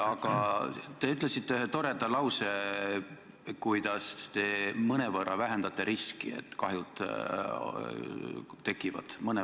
Aga te ütlesite ühe toreda lause, kuidas te mõnevõrra vähendate riski, et kahjud tekivad.